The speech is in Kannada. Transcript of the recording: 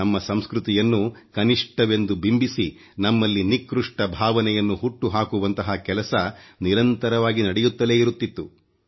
ನಮ್ಮ ಸಂಸ್ಕೃತಿಯನ್ನು ಕನಿಷ್ಠವೆಂದು ಬಿಂಬಿಸಿ ನಮ್ಮಲ್ಲಿ ನಿಕೃಷ್ಟ ಭಾವನೆಯನ್ನು ಹುಟ್ಟುಹಾಕುವಂತಹ ಕೆಲಸ ನಿರಂತರವಾಗಿ ನಡೆಯುತ್ತಲೇ ಇರುತ್ತಿತ್ತು